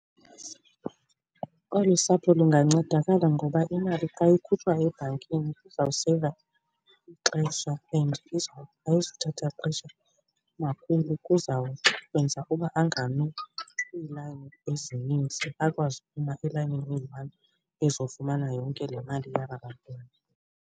Olu sapho lungancedakala ngoba imali xa ikhutshwa ebhankini izawuseyiva ixesha and ayizothatha xesha umakhulu, kuzawenza uba angami kwiilayini ezininzi, akwazi ukuma elayinini eyi-one ezofumana yonke le mali yaba bantwana.